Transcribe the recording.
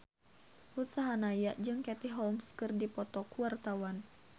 Ruth Sahanaya jeung Katie Holmes keur dipoto ku wartawan